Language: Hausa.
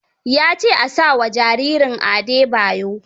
Ya ce a sa wa jaririnsa Adebayo.